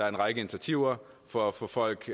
en række initiativer for at få folk